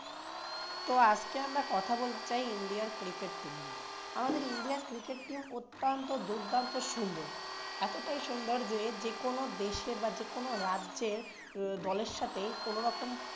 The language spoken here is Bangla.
তো আজকে আমরা কথা বলতে চাই ইন্ডিয়ার cricket team নিয়ে আমাদের ইন্ডিয়ার cricket team অত্যন্ত দুর্দান্ত সুন্দর। এতটাই সুন্দর যে যেকোনো দেশের বা যেকোনো রাজ্যের দলের সাথেই কোনোরকম